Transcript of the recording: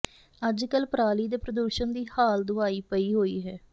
ਅੱਜ ਕੱਲ ਪਰਾਲੀ ਦੇ ਪ੍ਰਦੂਸ਼ਣ ਦੀ ਹਾਲ ਦੁਹਾਈ ਪਈ ਹੋਈ ਹੈ